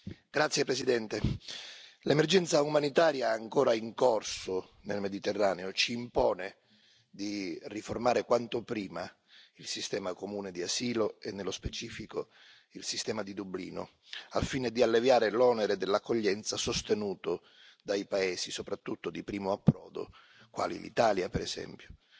Signor Presidente, onorevoli colleghi, l'emergenza umanitaria, ancora in corso nel Mediterraneo, ci impone di riformare quanto prima il sistema comune di asilo e, nello specifico, il sistema di Dublino, al fine di alleviare l'onere dell'accoglienza, sostenuto dai paesi soprattutto di primo approdo quali l'Italia, per esempio.